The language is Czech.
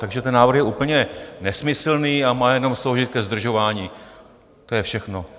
Takže ten návrh je úplně nesmyslný a má jenom sloužit ke zdržování, to je všechno.